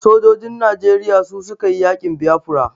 Sojojin Najeriya su su ka yi yaƙin Biafra.